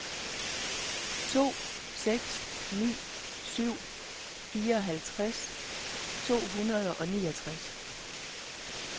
to seks ni syv fireoghalvtreds to hundrede og niogtres